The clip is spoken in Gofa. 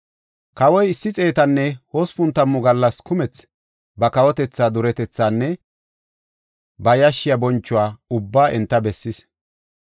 Kawoy issi xeetanne hospun tammu gallas kumethi ba kawotethaa duretethaanne ba yashshiya bonchuwa ubbaa enta bessis.